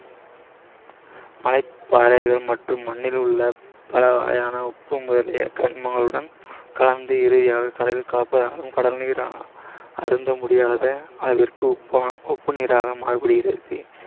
மலைப்பாறைகள் மற்றும் மண்ணிலுள்ள பல வகையான உப்பு முதலிய கனிமங்களுடன் கலந்து இறுதியாக கடலில் கலப்பதால் கடல் நீர் அருந்தமுடியாத அளவிற்கு உப்பு உப்புநீராக மாறிவிடுகிறது